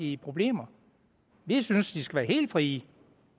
i problemer vi synes de skal være helt frie